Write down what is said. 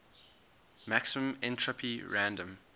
maximum entropy random